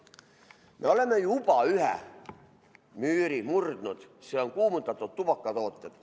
Me oleme juba ühe müüri murdnud, see on kuumutatud tubakatooted.